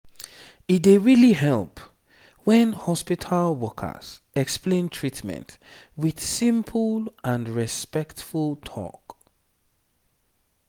e dey really help when hospital workers explain treatment with simple and respectful talk